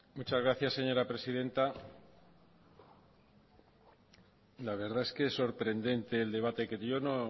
muchas gracias señora presidenta la verdad que es sorprendente el debate que yo